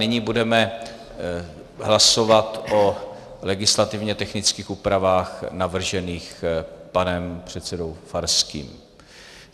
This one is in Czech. Nyní budeme hlasovat o legislativně technických úpravách navržených panem předsedou Farským.